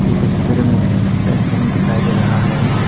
इस तस्वीर में एक रूम दिखाई दे रहा है।